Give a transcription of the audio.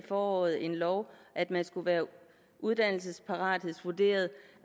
foråret en lov om at man skulle være uddannelsesparathedsvurderet